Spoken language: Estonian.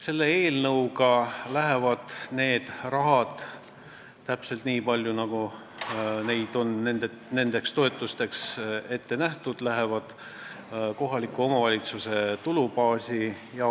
Selle eelnõu kohaselt läheb see raha – täpselt nii palju, kui seda on nendeks toetusteks ette nähtud – kohaliku omavalitsuse tulubaasi.